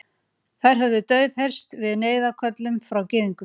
Þær höfðu daufheyrst við neyðarköllum frá Gyðingum.